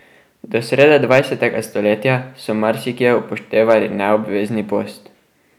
Do srede dvajsetega stoletja so marsikje upoštevali neobvezni post.